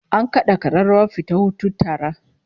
An kada kararrawar fita hutun tara